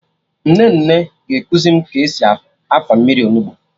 Nnenne ga-ekuzi m ka esi afa mmiri Onugbu